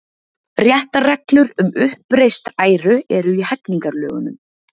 Réttarreglur um uppreist æru eru í hegningarlögunum.